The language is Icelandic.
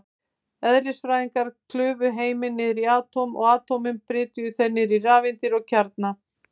Eðlisfræðingar klufu heiminn niður í atóm, og atómin brytjuðu þeir í rafeindir og kjarna.